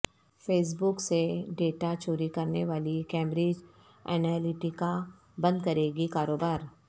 face بک سے data چوری کرنے والی کیمبرج انالیٹیکا بند کرے گی کاروبار